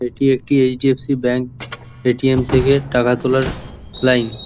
এটি একটি HDFC bank ATM থেকে টাকা তোলার লাইন ।